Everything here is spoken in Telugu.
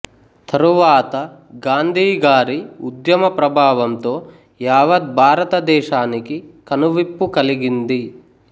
తరువాత గాంధీ గారి ఉద్యమ ప్రభావంతో యావాధ్బారతదేశానికి కనువిప్పు కలిగింది